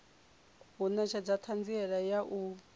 u netshedza thanziela ya u